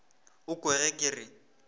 o kwe ge ke re